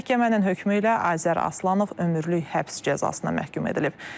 Məhkəmənin hökmü ilə Azər Aslanov ömürlük həbs cəzasına məhkum edilib.